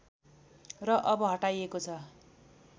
र अब हटाइएको छ